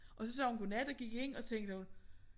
Og så sagde hun godnat og gik ind og tænkte hun